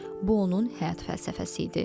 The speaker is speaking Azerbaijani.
Bu onun həyat fəlsəfəsi idi.